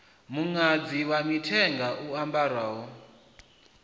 muṅadzi wa mithenga u ambarwaho